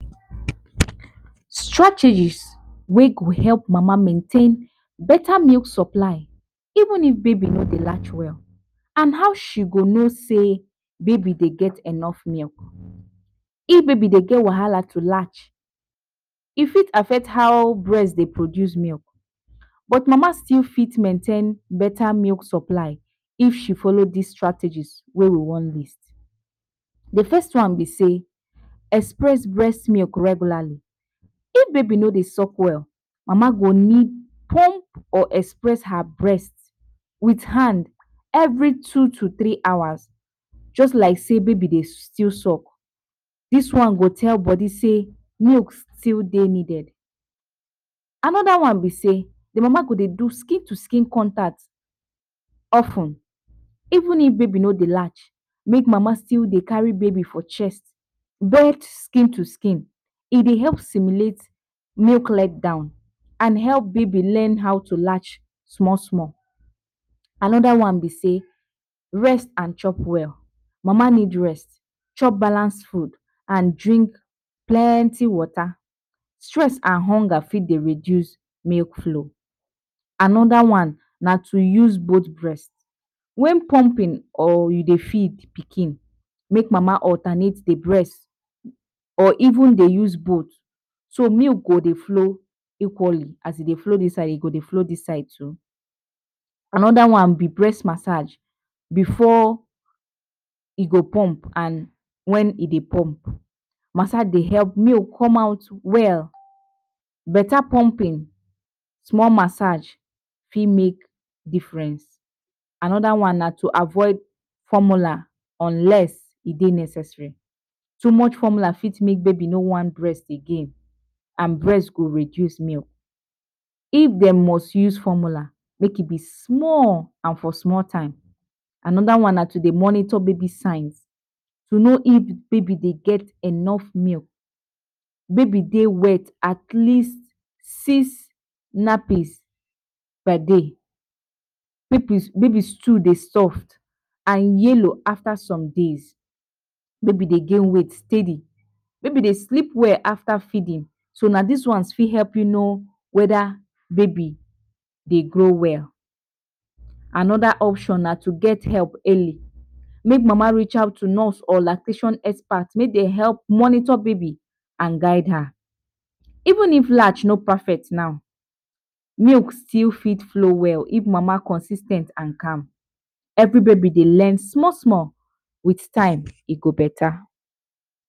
Strategy wey go help mama maintain beta milk supply even if baby no dey latch well and how she go no sey baby dey get enough milk. If baby dey get wahala to latch e fit affect how breast dey produce milk but mama still fit maintain better milk supply if she follow dis strategies wey we wan list. De first one be sey express breast milk regularly, if baby no dey suck well mama go need plump or express her breast with hand every two to three hours just like sey baby dey still suck, dis one go tell body sey milk still dey needed. Another one be sey de mama go dey do skin to skin contact of ten even if baby no dey latch make mama still dey carry baby for chest via skin to skin e dey dey help stimulate nuclear and help baby learn how to latch small small. Another one be sey rest and chop well, mama need rest chop balance food and drink plenty water stress and hunger fit dey reduce milk flow. Another one na to use both breast, when plumping or you dey feed pikin make mama alternate de breast or even dey use both so milk go dey flow equally as e dey flow dis side e go dey flow dis side too. Another one be breast massage before e go plump and when e dey plump massage dey help milk come out well, beta plumping small massage fit make difference. Another one na to avoid formula unless e dey necessary too much formula fit make baby no want breast again and breast go reduce milk if dem must use formula make e be small and for small time. Another one na to dey monitor baby signs to no if baby dey get enough milk, baby dey wet at least six nappies per day, baby stool dey soft and yellow after some days, baby dey get weight steady, baby dey sleep well after feeding so na dis ones fit help you no whether baby dey grow well. Another option na to get help early make mama reach out to nurse or lactation expert make dem help monitor baby and guild her even if latch no perfect now, milk fit still flow well if mama consis ten t and calm every baby dey learn small small with time e go beta.